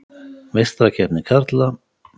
Meistarakeppni karla: